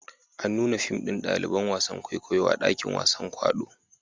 An nuna fim ɗin ɗaliban wasan kwaikwayo a dakin wasan kwaɗo